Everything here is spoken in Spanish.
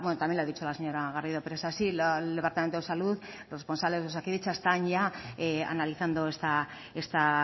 también lo ha dicho la señora garrido pero es así el departamento de salud los responsables de osakidetza están ya analizando esta